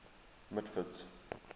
mitford's